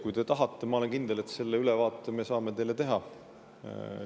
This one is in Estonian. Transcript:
Kui te tahate ülevaadet, siis ma olen kindel, et me saame selle teile teha.